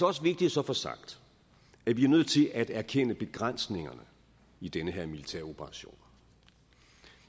også vigtigt så at få sagt at vi er nødt til at erkende begrænsningerne i den her militæroperation